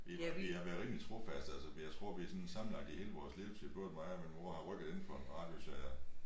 Vi vi har været rimelig trofaste altså jeg tror vi sådan sammenlagt i hele vores levetid både mig og min mor har rykket inden for en radius af